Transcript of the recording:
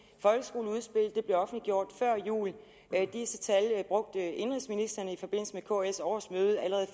folkeskoleudspillet blev offentliggjort før jul disse tal brugte indenrigsministeren i forbindelse med kls årsmøde allerede